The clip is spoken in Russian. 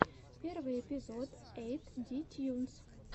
первый эпизод эйт ди тьюнс